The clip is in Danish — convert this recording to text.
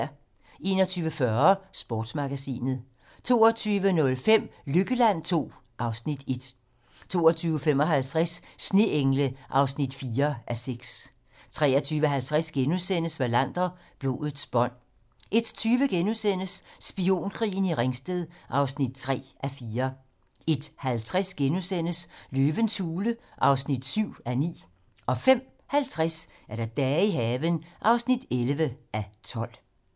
21:40: Sportsmagasinet 22:05: Lykkeland II (Afs. 1) 22:55: Sneengle (4:6) 23:50: Wallander: Blodets bånd * 01:20: Spionkrigen i Ringsted (3:4)* 01:50: Løvens Hule (7:9)* 05:50: Dage i haven (11:12)